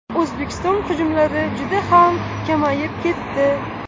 O‘zbekiston hujumlari juda ham kamayib ketdi.